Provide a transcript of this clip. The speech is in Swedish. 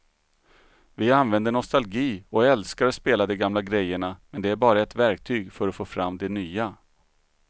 Vi använder nostalgi och älskar att spela de gamla grejerna men det är bara ett verktyg för att få fram det nya.